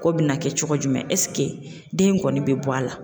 K'o bɛna kɛ cogo jumɛn den in kɔni bɛ bɔ a la.